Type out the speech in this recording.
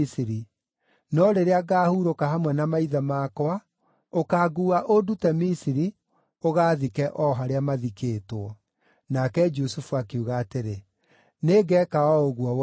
no rĩrĩa ngaahurũka hamwe na maithe makwa, ũkanguua, ũndute Misiri, ũgaathike o harĩa mathikĩtwo.” Nake Jusufu akiuga atĩrĩ, “Nĩngeeka o ũguo woiga.”